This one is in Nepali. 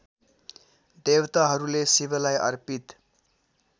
देवताहरूले शिवलाई अर्पित